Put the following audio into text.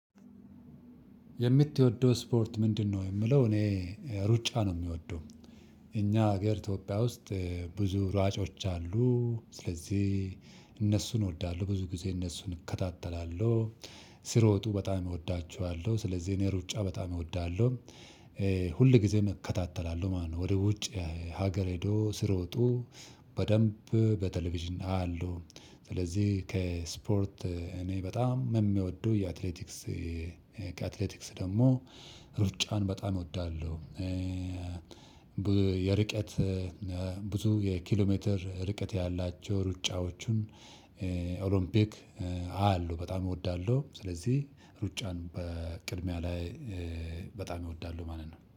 የምትወደው ስፖርት ምንድነው? የሚለው እኔ ሩጫ ነው የምወደው። እኛ ሀገር ኢትዮጵያ ውስጥ ብዙ ሯጮች አሉ። ስለዚህ እነሱን እወዳለሁ። ብዙ ጊዜ እነሱን እከታተላለሁ። ሲሮጡ በጣም እወዳቸዋለሁ። ስለዚህ እኔ ሩጫ በጣም እወዳለሁ። ሁል ጊዜም እከታተላለሁ ማለት ነው። ወደ ውጭ ሀገር ሄደው ሲሮጡ በደንብ በቴሌቪዥን አያለሁ። ስለዚህ ከስፖርት እኔ በጣም የምወደው የአትሌቲክስ ከአትሌቲክስ ደግሞ ሩጫን በጣም እወዳለሁ። የርቀት ብዙ የኪሎ ሜትር ርቀት ያላቸው ሩጫዎቹን ኦሎምፒክ አያላሁ፣ በጣም እወዳለሁ። ስለዚህ ሩጫን በቅድሚያ ላይ በጣም እወዳለሁ ማለት ነው።